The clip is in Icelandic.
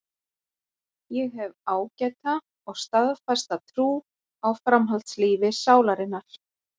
Ég hef ágæta og staðfasta trú á framhaldslífi sálarinnar.